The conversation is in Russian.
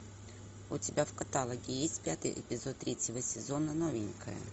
у тебя в каталоге есть пятый эпизод третьего сезона новенькая